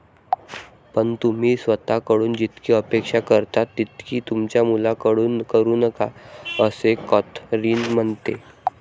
पण, तुम्ही स्वतःकडून जितकी अपेक्षा करता तितकी तुमच्या मुलांकडून करू नका, असे कॅथरिन म्हणते.